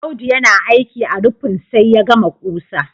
Audu yana aiki a rufin sai ya gama ƙusa